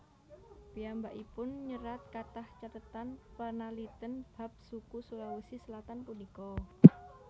Piyambakipun nyerat kathah cathetan panalitèn bab suku Sulawesi Selatan punika